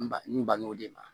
N ba n bangebaaw de ma